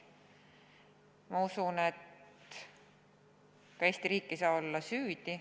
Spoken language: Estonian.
Ma usun, et ka Eesti riik ei saa olla süüdi.